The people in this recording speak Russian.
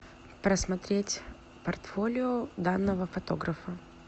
просмотреть портфолио данного фотографа